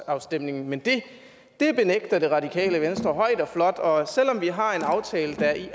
afstemning men det benægter det radikale venstre højt og flot og selv om vi har en aftale der i